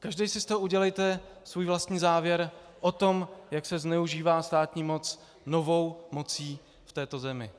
Každý si z toho udělejte svůj vlastní závěr o tom, jak se zneužívá státní moc novou mocí v této zemi.